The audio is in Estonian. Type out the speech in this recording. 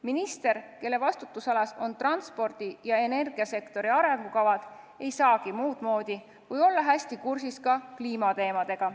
Minister, kelle vastutusalas on transpordi- ja energiasektori arengukavad, ei saagi muudmoodi, kui olla hästi kursis ka kliimateemadega.